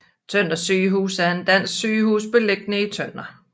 Tønder Sygehus er et dansk sygehus beliggende i Tønder